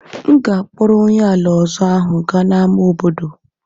M ga-akpọrọ onye ala ọzọ ahụ gaa n'ámá obodo.